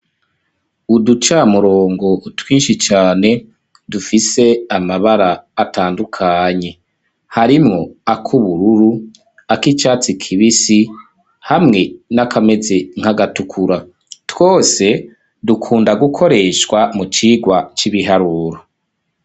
Uducamurongo twinshi cane dufise amabara atandukanye harimwo ak'ubururu ako icatsi kibisi hamwe n'akameze nk'agatukura, twose dukunda gukoreshwa mu cigwa c'ibiharuro.